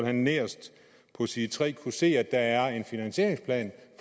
han nederst på side tre kunne se at der er en finansieringsplan